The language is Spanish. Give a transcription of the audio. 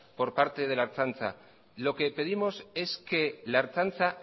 por parte de la ertzaintza lo que pedimos es que la ertzaintza